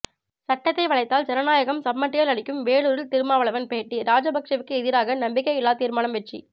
சட்டத்தை வளைத்தால் ஜனநாயகம் சம்மட்டியால் அடிக்கும் வேலூரில் திருமாவளவன் பேட்டி ராஜபக்சேவுக்கு எதிராக நம்பிக்கை இல்லா தீர்மானம் வெற்றி